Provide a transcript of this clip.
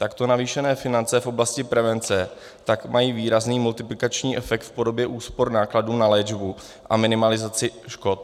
Takto navýšené finance v oblasti prevence tak mají výrazný multiplikační efekt v podobě úspor nákladů na léčbu a minimalizaci škod.